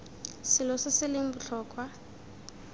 selo se se leng botlhokwa